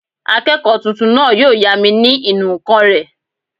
Akẹ́kọ̀ọ́ tuntun náà yóò yá mi ní ìnù-ǹkan rẹ̀